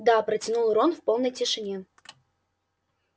да протянул рон в полной тишине